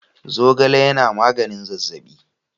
Zogale yana magnin zazzabi.